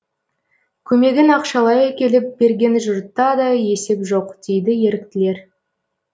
көмегін ақшалай әкеліп берген жұртта да есеп жоқ дейді еріктілер